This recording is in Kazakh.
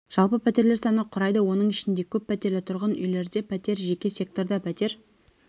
жалпы пәтерлер саны құрайды оның ішінде көп пәтерлі тұрғын үйлерде пәтер жеке секторда пәтер